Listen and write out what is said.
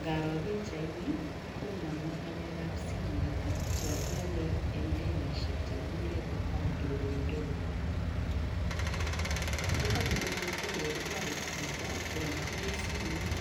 Ngaro pikchaini kononwo ng'alekab simet cho kiolei eng' denishek chekikure lipa mdogomdogo lipa mdogomdogo kotoreti chito konyorchigei simet